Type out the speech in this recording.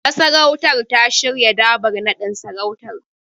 Masarautar ta shirya Dabar naɗin sarautar.